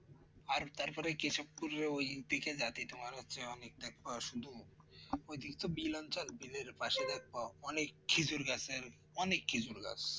আর তারপরে কেশবপুর ওই দিকে যেতে তোমার হচ্ছে অনেক দেখবা শুধু অদিক তো বিল অঞ্চল বিলের পাশে দেখবা অনেক খেজুর গাছের অনেক খেজুর গাছ